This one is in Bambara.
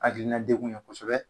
Hakilina dekun ye kosɛbɛ